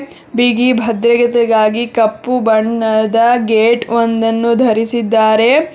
ಬಿಗಿ ಭದ್ರಯತೆಗಾಗಿ ಕಪ್ಪು ಬಣ್ಣದ ಗೇಟ್ ಒಂದನ್ನು ಧರಿಸಿದ್ದಾರೆ.